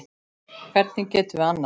Hvernig getum við annað?